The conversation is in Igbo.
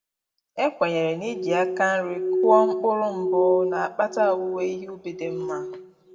E kwenyere na-iji aka nri kụọ mkpụrụ mbụ na-akpata owuwe ihe ubi dị nma